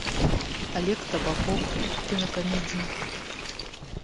олег табаков в кинокомедии